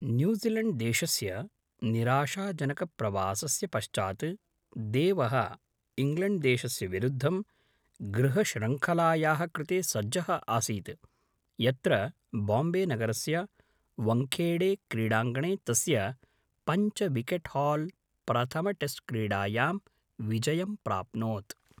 न्यूज़ीलैण्ड्देशस्य निराशाजनकप्रवासस्य पश्चात्, देवः इङ्ग्लेण्ड्देशस्य विरुद्धं गृहश्रृङ्खलायाः कृते सज्जः आसीत्, यत्र बाम्बेनगरस्य वङ्खेडेक्रीडाङ्गणे तस्य पञ्चविकेट्हाल् प्रथमटेस्ट्क्रीडायां विजयं प्राप्नोत्।